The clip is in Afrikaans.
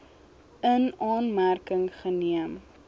in aanmerking geneem